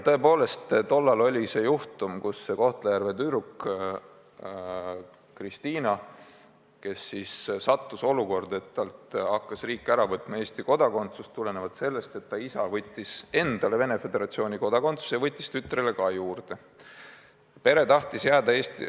Tõepoolest, tollal oli juhtum, kus Kohtla-Järve tüdruk Kristina sattus olukorda, et riik hakkas talt Eesti kodakondsust ära võtma, sest ta isa võttis endale Venemaa Föderatsiooni kodakondsuse ja võttis tütrele ka.